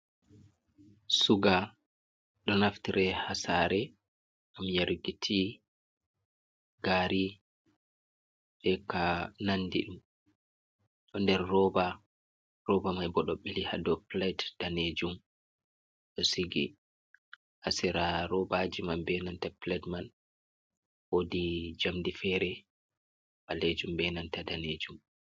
Suga ɗo naftire ha sare gam yaruki ti, gari, beka nanɗi. Ɗo ɗer roba roba mai bo ɗo beli haɗow pilait ɗanejum ɗo sigi. Ha sera robaji man be nanta pilaɗ man woɗi jamɗe fere balejum benanta ɗanejum.